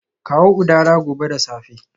Kawo udara gobe da safe